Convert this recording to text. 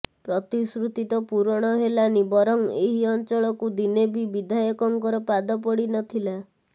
ପ୍ରତିଶ୍ରୁତି ତ ପୂରଣ ହେଲାନି ବରଂ ଏହି ଅଞ୍ଚଳକୁ ଦିନେ ବି ବିଧାୟକଙ୍କର ପାଦ ପଡି ନ ଥିଲା